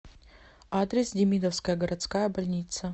адрес демидовская городская больница